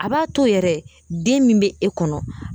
A b'a to yɛrɛ den min be e kɔnɔ